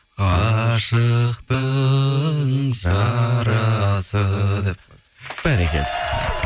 ғашықтың жарасы деп бәрекелді